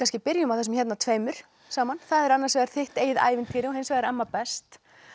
byrjum á þessum tveimur saman það er annars vegar þitt eigið ævintýri og hins vegar amma best